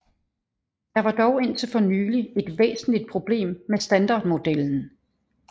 Der var dog indtil for nylig et væsentlig problem med standardmodellen